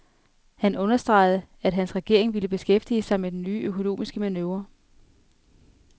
Han understregede, at hans regering vil beskæftige sig med den nye økonomiske manøvre.